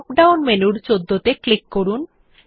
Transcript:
drop down মেনুর ১৪ ত়ে click করুন